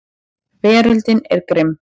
Veröldin er grimm.